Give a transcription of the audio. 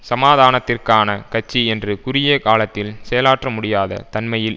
சமாதானத்திற்கான கட்சி என்று குறுகிய காலத்தில் செயலாற்றமுடியாத தன்மையில்